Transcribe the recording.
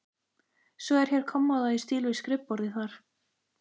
Svo er hér kommóða í stíl við skrifborðið þar.